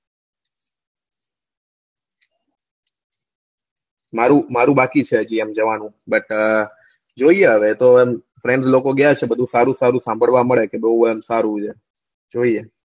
મારું બાકી છે હજી જવાનું but જોઈએ હવે તો friend લોકો ગયા છે બધું સારું સારું સંભાળવા મળે બઉ એમ સારું છે જોઈએ